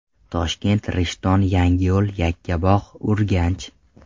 Toshkent, Rishton, Yangiyo‘l, Yakkabog‘, Urganch.